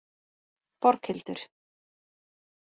Borghildur